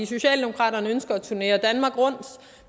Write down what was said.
socialdemokraterne ønsker at turnere danmark rundt